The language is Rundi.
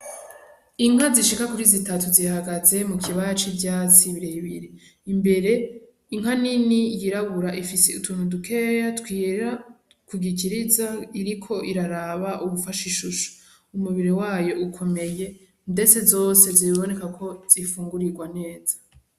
Inka zishika kuri zitatu zihagaze mukibara c'ivyatsi birebire. Imbere inka nini yirabura ifise utuntu dukeya twera kugikiriza, iriko iraraba uwufashe ishusho. Umubiri wayo ukomeye, ndetse zose ziraboneka ko zifungurirwa neza.